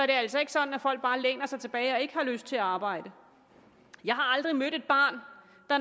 det er altså ikke sådan at folk bare læner sig tilbage og ikke har lyst til at arbejde jeg har aldrig mødt et barn der